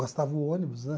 Gastava o ônibus, né?